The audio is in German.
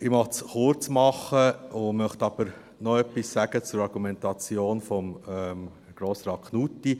Ich möchte es kurz machen, möchte aber noch etwas zur Argumentation von Grossrat Knutti sagen.